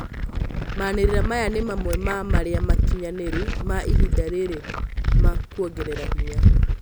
Manerĩra maya nĩ mamwe ma marĩa makinyanĩru ma ihinda rĩrĩ ma kwongera hinya